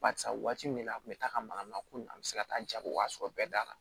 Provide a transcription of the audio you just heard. Barisa waati min na a kun mi taa ka maka mako na an be se ka taa jago waa sɔrɔ bɛɛ da la